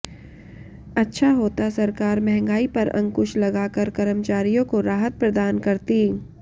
अच्छा होता सरकार महंगाई पर अंकुश लगा कर कर्मचारियों को राहत प्रदान करती